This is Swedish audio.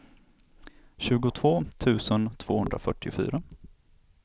tjugotvå tusen tvåhundrafyrtiofyra